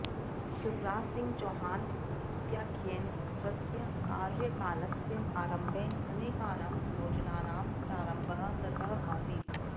शिवराज सिंह चौहान इत्याख्येन स्वस्य कार्यकालस्य आरम्भे अनेकानां योजनानां प्रारम्भः कृतः आसीत्